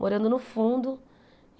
Morando no fundo.